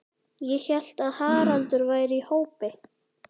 Ég hélt að Haraldur væri í hópi